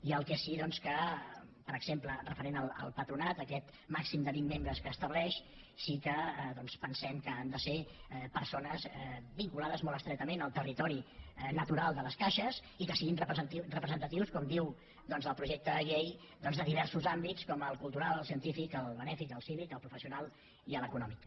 i el que sí que per exemple referent al patronat aquest màxim de vint membres que estableix sí que pensem que han de ser persones vinculades molt estretament al territori natural de les caixes i que siguin representatius com diu doncs el projecte de llei de diversos àmbits com el cultural el científic el benèfic el cívic el professional i l’econòmic